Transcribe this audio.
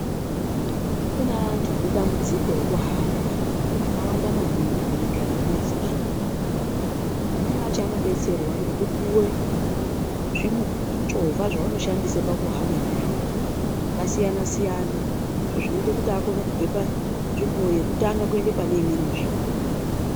Kune antu ane dambudziko rekuhamba akawanda maningi munyika yedu yeZimbabwe. Amweni acho anodetserwa nekupuwe zvimuchovha zvavanoshandisa pakuhamba ndizvona zvakasiyana siyana izvo zvinoita akone kubva panzvimbo yekutanga kuenda pane imweni nzvimbo.